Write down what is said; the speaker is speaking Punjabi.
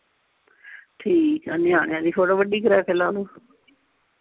ਠੀਕ ਆ ਨਿਆਣਿਆਂ ਦੀ photo ਵੱਡੀ ਕਰ ਕੇ ਲਾ ਲਓ